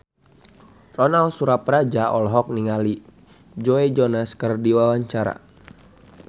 Ronal Surapradja olohok ningali Joe Jonas keur diwawancara